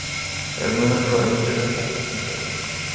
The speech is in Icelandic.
Er munur á umgjörðinni hjá þessum félögum?